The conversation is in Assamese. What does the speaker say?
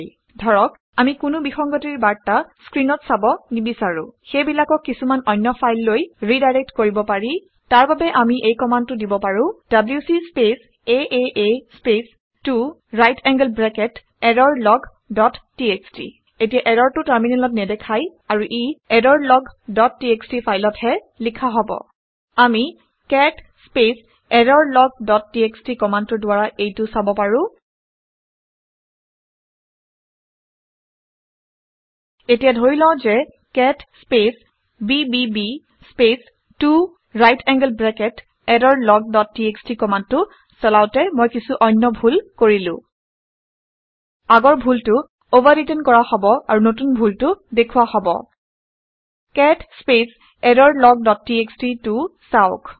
এতিয়া ধৰা হওক আমি কোনো ভুল খবৰ বিসংগতিৰ বাৰ্তা স্ক্ৰিনত চাব নিবিচাৰো । সিহঁতক সেইবিলাকক কিছুমান অন্য ফাইললৈ ৰিডাইৰেক্ট কৰিব পাৰি। তাৰ বাবে আমি এই কামাণ্ডটো দিব পাৰো - ডব্লিউচি স্পেচ আঁ space 2 right angled bracket error log dot TXT এতিয়া এৰৰটো টাৰ্মিনেলত নেদেখাই আৰু ই এৰৰলগ ডট টিএক্সটি ফাইলত হে লিখা হব আমি cat space error log dot TXT কামাণ্ডটোৰ দ্বাৰা এইটো চাব পাৰো। এতিয়া ধৰি লওঁ ঘে cat space BBB space 2 right angled bracket error log dot TXT কামাণ্ডটো চলাওঁতে মই কিছু অন্য ভুল কৰিলো। আগৰ ভুলটো অভাৰৰিটেন কৰা হব আৰু নতুন ডুলটো দেখুওৱা হব। Cat space error log dot txt টো চাওক